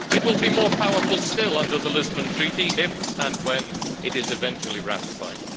It will be more powerful still under the Lisbon Treaty, if and when it is eventually ratified.